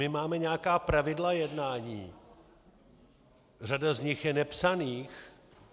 My máme nějaká pravidla jednání, řada z nich je nepsaných.